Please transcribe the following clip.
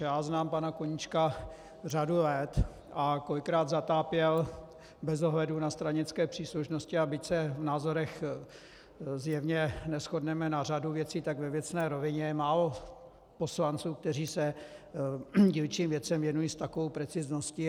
Já znám pana Koníčka řadu let a kolikrát zatápěl bez ohledu na stranické příslušnosti, a byť se v názorech zjevně neshodneme na řadu věcí, tak ve věcné rovině je málo poslanců, kteří se dílčím věcem věnují s takovou precizností.